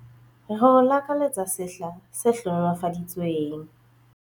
Re o lakaletsa sehla se hlohonolofaditsweng!